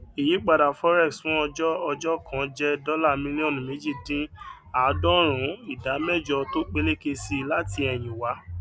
ìyípadà forex fún ọjọ ọjọ kan jẹ dọlà mílíọnù méjì dín àádọrùnún ìdá mẹjọ tó peléke si láti ẹyìn wá